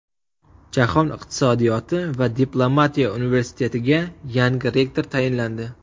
Jahon iqtisodiyoti va diplomatiya universitetiga yangi rektor tayinlandi .